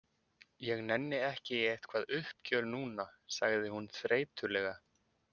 Ég nenni ekki í eitthvað uppgjör núna, sagði hún þreytulega.